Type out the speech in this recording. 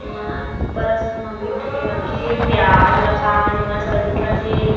एमा ऊपर असन म बइठ के रखे हे प्याज रसान मस्त दिखत हे।